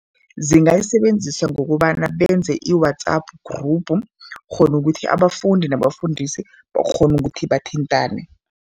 Zingayisebenzisa ngokobana benze i-WhatsApp group khona ukuthi abafundi nabafundisi bakghone ukuthi bathintane.